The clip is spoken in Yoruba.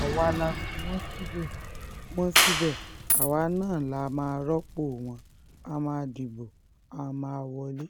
àwa la fi wọ́n síbẹ̀ wọ́n síbẹ̀ àwa náà la máa rọ́pò wọ́n á máa dìbò a máa wọlé